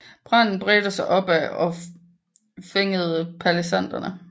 Branden bredte sig opad og fængede palisaderne